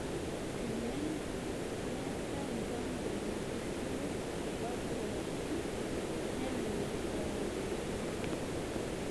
Tenemetai mpango naitushulu rubat pookin nelelek eyau esoto.